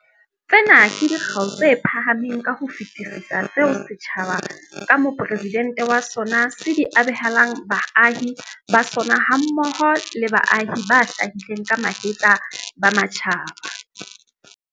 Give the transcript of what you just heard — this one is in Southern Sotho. Tsena ke dikgau tse phahameng ka ho fetisisa tseo setjhaba, ka Mopresidente wa sona, se di abelang baahi ba sona hammoho le baahi ba hlahileng ka mahetla ba matjhaba.